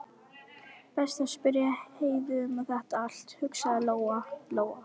Best að spyrja Heiðu um þetta allt, hugsaði Lóa Lóa.